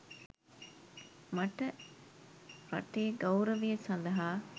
මට රටේ ගෞරවය සඳහා